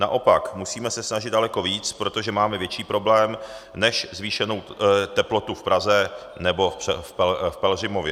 Naopak, musíme se snažit daleko více, protože máme větší problém než zvýšenou teplotu v Praze nebo v Pelhřimově.